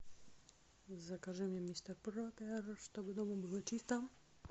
закажи мне мистер пропер чтобы дома было чисто